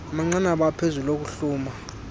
amanqanaba aphezulu okuhluma